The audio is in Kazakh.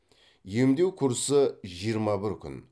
емдеу курсы жиырма бір күн